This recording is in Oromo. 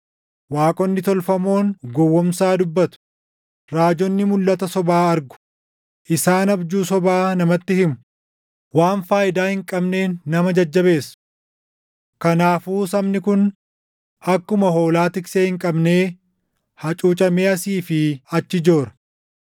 Waaqonni tolfamoon gowwoomsaa dubbatu; raajonni mulʼata sobaa argu; isaan abjuu sobaa namatti himu; waan faayidaa hin qabneen nama jajjabeessu. Kanaafuu sabni kun akkuma hoolaa tiksee hin qabnee hacuucamee asii fi achi joora.